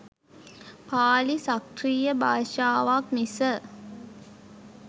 පාලි සක්‍රිය භාෂාවක් මිස